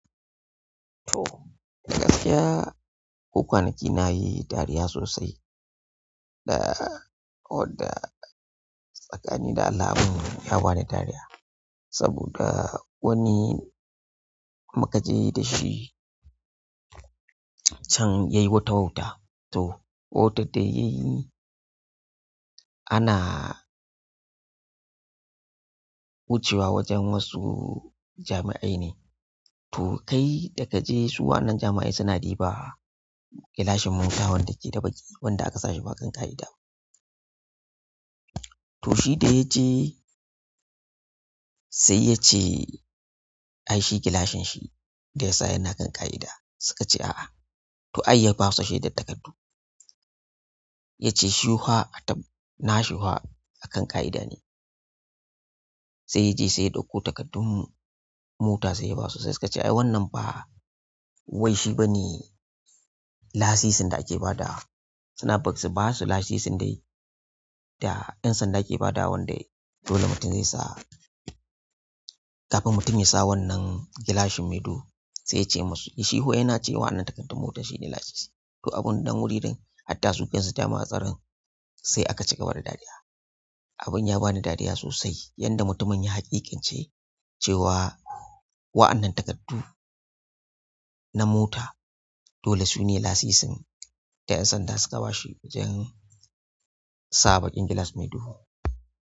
To, gaskiya ko kwanaki na yi dariya sosai da, ko da tsakani da Allah abin ya bani dariya. Saboda wani muka je da shi can yayi wata wauta. To, wautar da yayi ana wucewa wajen wasu jami'ai ne. To, kai da ka je su waɗannan jami'a suna ɗiba gilashin mota wanda ke da baƙi, wanda aka sa shi ba kan ƙa'ida. Toh shi da yaje sai yace ai shi gilashin shi da yasa yana kan ƙa'ida suka ce a'a. To ai ya basu shaidar takardu. Ya ce shi kuwa a taɓa, na shi kuwa a kan ƙa'ida ne. Sai ya je sai daukoh takardun mota sai ya basu. Sai suka ce ai wannan ba wai shi ba ne lasisin da ake ba dawa, suna su ba su lasisin dai da 'yan sanda ke ba da wanda dole mutum zai siya kafin mutum ya sa wannan gilashin mai duhu. Sai ya ce masu yi shi fa yana cewa wannan takardun motar shine lasisi. To, abun nan wuri ɗin hatta su kan su jami'an tsaron sai aka cigaba da dariya. Abin ya ba ni dariya sosai yadda mutumin ya haƙiƙance cewa wa'annan takardu na mota dole su ne lasisin da 'yan sanda suka ba shi wajen sa ɓaƙin gilas mai duhu.